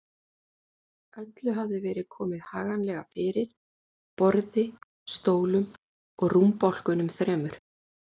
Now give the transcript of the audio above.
Öllu hafði verið komið haganlega fyrir: borði, stólum og rúmbálkunum þremur.